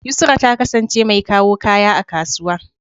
Yusra ta kasance mai kawo kaya a kasuwa.